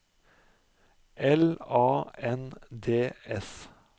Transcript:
L A N D S